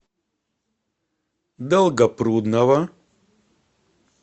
долгопрудного